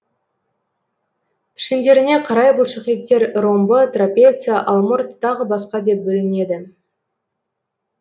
пішіндеріне қарай бұлшықеттер ромбы трапеция алмұрт тағы басқа деп бөлінеді